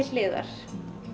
hliðar